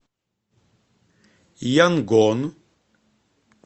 янгон